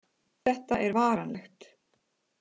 Þetta er varanlegt